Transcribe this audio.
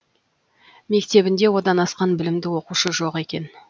мектебінде одан асқан білімді оқушы жоқ екен